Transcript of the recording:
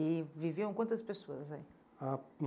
E viviam quantas pessoas aí? Ah